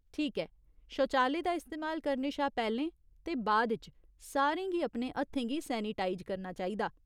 ठीक ऐ ! शौचालय दा इस्तेमाल करने शा पैह्‌लें ते बाद इच सारें गी अपने हत्थें गी सैनिटाइज करना चाहिदा।